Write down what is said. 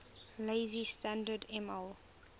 lazy standard ml